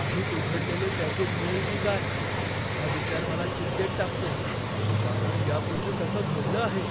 आधीच उघडलेले पॅकेज मिळेल की काय हा विचार मला चिंतेत टाकतो कारण यापूर्वी तसं घडलं आहे,